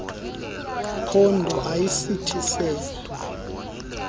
phondo ayisithi sedwa